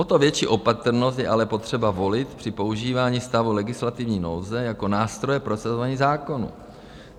O to větší opatrnost je ale potřeba volit při používání stavu legislativní nouze jako nástroje prosazování zákonů.